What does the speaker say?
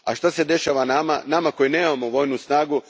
A što se dešava nama, nama koji nemamo vojnu snagu?